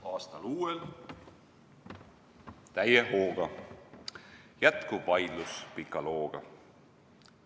Aastal uuel täie hooga jätkub vaidlus pika looga.